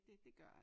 Det det gør jeg ik